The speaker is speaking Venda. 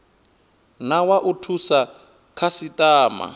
na wa u thusa khasitama